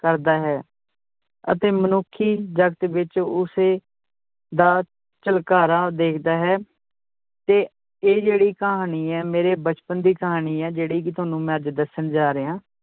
ਕਰਦਾ ਹੈ l ਅਤੇ ਮਨੁੱਖੀ ਜਗਤ ਵਿਚ ਉਸੇ ਦਾ ਝਲਕਾਰਾ ਦੇਖਦਾ ਹੈ ਤੇ ਇਹ ਜਿਹੜੀ ਕਹਾਣੀ ਹੈ, ਮੇਰੇ ਬਚਪਨ ਦੀ ਕਹਾਣੀ ਹੈ ਜਿਹੜੀ ਕਿ ਤੁਹਾਨੂੰ ਮੈਂ ਅੱਜ ਦੱਸਣ ਜਾ ਰਿਹਾਂ।